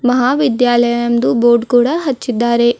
ಮಹಾವಿದ್ಯಾಲಯ ಎಂದು ಬೋರ್ಡ್ ಕೂಡ ಹಚ್ಚಿದ್ದಾರೆ.